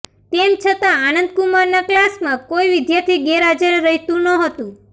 તેમ છતાં આનંદકુમારનાં ક્લાસમાં કોઇ વિદ્યાર્થી ગેરહાજર રહેતુ ન હતું